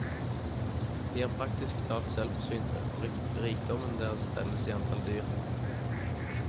De er praktisk talt selvforsynte, og rikdommen deres telles i antall dyr.